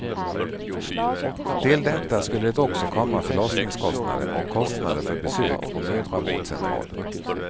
Till detta skulle det också komma förlossningskostnader och kostnader för besök på mödravårdscentralen.